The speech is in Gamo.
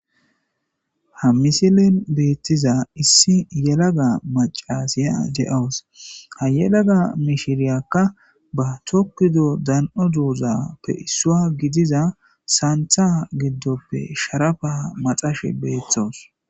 Ha misilen beettiza issi yelaga macasiya de7owos ha yelaga mishiriyakka ba tokkudo dan7o duuzappe issua gidiza saantha giddoppe sharafa maxashe beeththos